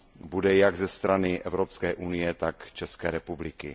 bude jak ze strany Evropské unie, tak České republiky.